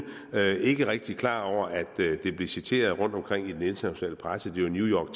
og ikke rigtig er klar over at det vil blive citeret rundtomkring i den internationale presse det var new york